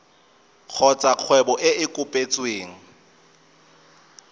kgotsa kgwebo e e kopetsweng